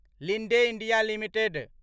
Linde India limited